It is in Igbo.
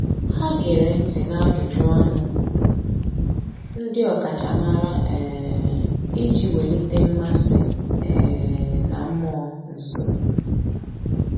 Há gèrè ntị́ n’ájụ́jụ́ ọnụ ndị ọ́kàchàmàrà um iji wèlíté mmasị um na mmụọ́ nsọ́.